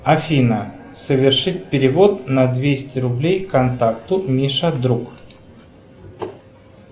афина совершить перевод на двести рублей контакту миша друг